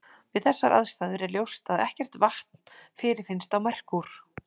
Við þessar aðstæður er ljóst að ekkert vatn fyrirfinnst á Merkúr.